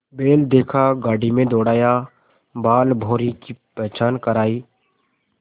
बैल देखा गाड़ी में दौड़ाया बालभौंरी की पहचान करायी